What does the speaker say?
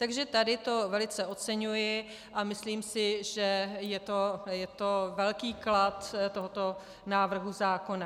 Takže tady to velice oceňuji a myslím si, že je to velký klad tohoto návrhu zákona.